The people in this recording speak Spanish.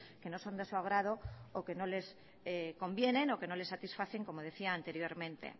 que no son de su agrado o que no les convienen o que no le satisfacen como decía anteriormente